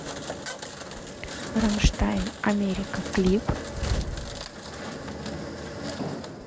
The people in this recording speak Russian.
рамштайн америка клип